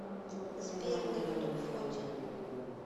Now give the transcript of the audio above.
сбер на ютуб фортин